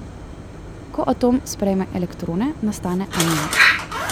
Ko atom sprejme elektrone, nastane anion.